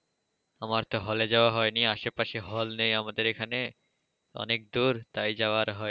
আমার তো hall এ যাওয়া হয়নি, আশেপাশে hall নেই আমাদের এখানে অনেকদূর তাই যাওয়া আর হয়নি।